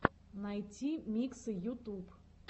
найти миксы ютуб